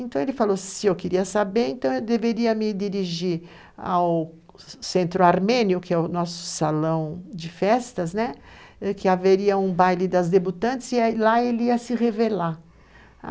Então ele falou, se eu queria saber, então eu deveria me dirigir ao Centro Armênio, que é o nosso salão de festas, que haveria um baile das debutantes e lá ele ia se revelar.